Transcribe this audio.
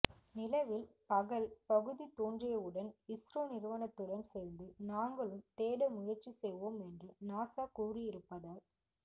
நிலவில் பகல் பகுதி தோன்றியவுடன் இஸ்ரோ நிறுவனத்துடன் சேர்ந்து நாங்களும் தேட முயற்சி செய்வோம் என்று நாசா கூறியிருப்பதால்